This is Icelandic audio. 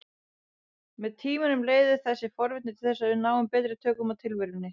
Með tímanum leiðir þessi forvitni til þess að við náum betri tökum á tilverunni.